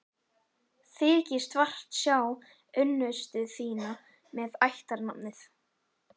Þykist vart sjá unnustu þína með ættarnafnið.